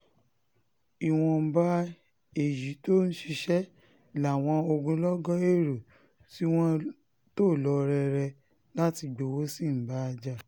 ìwọ̀nba èyí tó ń ṣiṣẹ́ làwọn ogunlọ́gọ̀ èrò tí wọ́n tò lọ rere láti gbowó sí ń bá jà